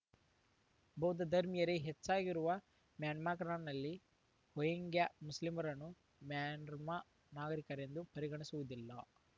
ಬೌದ್ಧ ಧರ್ಮೀಯರೇ ಹೆಚ್ಚಾಗಿರುವ ಮ್ಯಾನ್ಮಾಗ್ ರ್‌ನಲ್ಲಿ ರೋಹಿಂಗ್ಯಾ ಮುಸ್ಲಿಮರನ್ನು ಮ್ಯಾನ್ಮಾರ್‌ ನಾಗರಿಕರೆಂದೇ ಪರಿಗಣಿಸುವುದಿಲ್ಲ